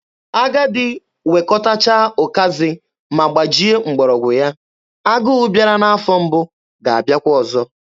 Agadi wekọtacha ụkazị ma gbajie mgbọrọgwụ ya, agụ bịara n'afọ mbụ ga-abịakwa ọzọ.